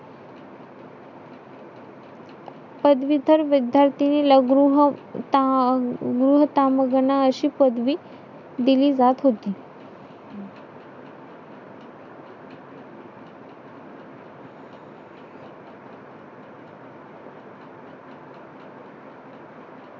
मग काय भुईमू येत असतात तुरी , उडीद , हे सगळं येत असतं पूर्ण एकदम लावतो